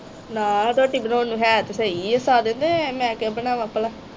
ਨਾ ਰੋਟੀ ਬਣਾਉਣ ਨੂੰ ਹੈ ਤਾ ਸਹੀ ਆ ਸਾਰੇ ਤੇ ਮੈ ਕਿਉਂ ਬਨਾਵਾ ਪਲਾ